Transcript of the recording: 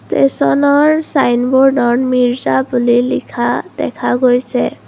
তেছনৰ ছাইনবোৰ্ডত মিৰ্জা বুলি লিখা দেখা গৈছে।